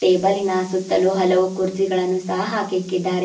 ಟೇಬಲಿನ ಸುತ್ತಲು ಹಲವು ಕುರ್ಜಿನಗಳನ್ನು ಸಹ ಹಾಕಿಕ್ಕಿದ್ದಾರೆ.